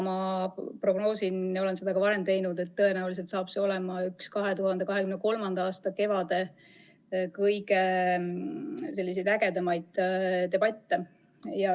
Ma prognoosin, olen seda ka varem teinud, et tõenäoliselt saab see olema üks 2023. aasta kevade kõige ägedamaid debatte.